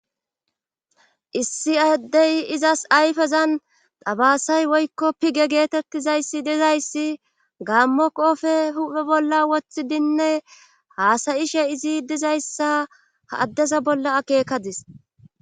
Issi ahddey izas ayfezan dabasay woykko pige geetettizayssi dizayssi gaammo qoofe huphe bolla woththidinne haasayishe izi dizayssa ha addeza bolla akeekadis.